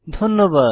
ধন্যবাদ